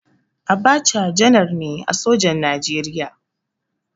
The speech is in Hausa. Abacha janar ne a sojan Najeriya.